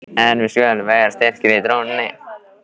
En við skulum vera styrkir í trúnni!